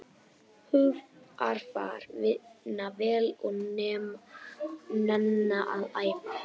Hugarfar, vinna vel og nenna að æfa.